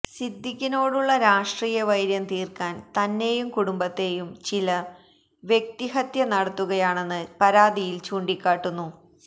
സിദ്ധീക്കിനോടുള്ള രാഷ്ട്രീയ വൈര്യം തീർക്കാൻ തന്നെയും കുടുംബത്തേയും ചിലർ വ്യക്തിഹത്യ നടത്തുകയാണെന്ന് പരാതിയിൽ ചൂണ്ടിക്കാട്ടുന്നു